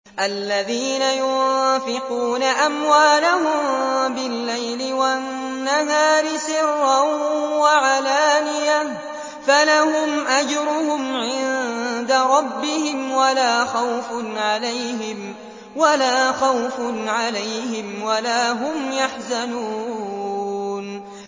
الَّذِينَ يُنفِقُونَ أَمْوَالَهُم بِاللَّيْلِ وَالنَّهَارِ سِرًّا وَعَلَانِيَةً فَلَهُمْ أَجْرُهُمْ عِندَ رَبِّهِمْ وَلَا خَوْفٌ عَلَيْهِمْ وَلَا هُمْ يَحْزَنُونَ